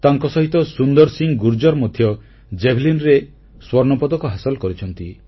ତାଙ୍କସହିତ ସୁନ୍ଦର ସିଂ ଗୁର୍ଜର ମଧ୍ୟ ଜାଭେଲିନ ରେ ସ୍ୱର୍ଣ୍ଣପଦକ ହାସଲ କରିଛନ୍ତି